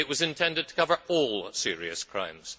it was intended to cover all serious crimes.